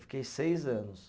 Fiquei seis anos.